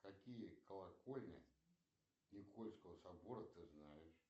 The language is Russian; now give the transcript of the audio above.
какие колокольни никольского собора ты знаешь